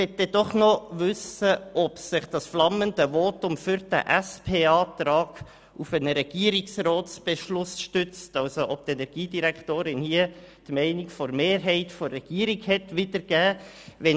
Nun möchte ich wissen, ob sich das flammende Votum für den SPJUSO-PSA-Antrag auf einen Regierungsratsbeschluss stützt und die Energiedirektorin damit die Mehrheitsmeinung der Regierung wiedergegeben hat.